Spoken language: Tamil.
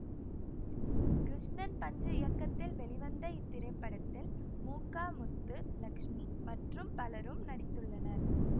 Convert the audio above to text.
கிருஷ்ணன் பஞ்சு இயக்கத்தில் வெளிவந்த இத்திரைப்படத்தில் மு க முத்து லக்ஸ்மி மற்றும் பலரும் நடித்துள்ளனர்